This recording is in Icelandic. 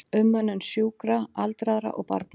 Umönnun sjúkra, aldraðra og barna.